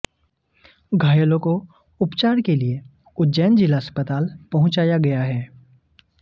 घायलों को उपचार के लिए उज्जैन जिला अस्पताल पहुंचाया गया है